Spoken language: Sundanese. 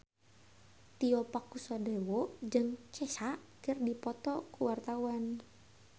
Tio Pakusadewo jeung Kesha keur dipoto ku wartawan